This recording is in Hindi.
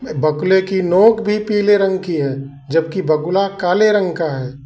बकुले की नोक भी पीले रंग की हैं जब की बकुला काले रंग का है।